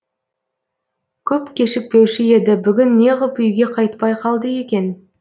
көп кешікпеуші еді бүгін неғып үйге қайтпай қалды екен